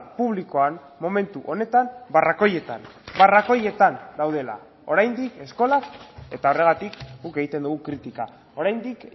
publikoan momentu honetan barrakoietan barrakoietan daudela oraindik eskolak eta horregatik guk egiten dugu kritika oraindik